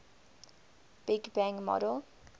big bang model